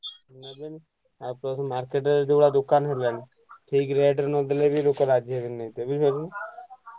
ନେବେନି ଆଉ plus market ରେ ଯୋଉଭଳିଆ ଦୋକାନ ହେଲାଣି ଠିକ rate ରେ ନଦେଲେ ବି ଲୋକ ରାଜିହେବେନି ନେଇତେ ବୁଝିପାଇଲୁ ନା?